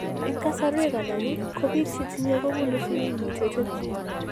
En kasarwek alak , ko biik chetinye ko bunu sigiik mutated gene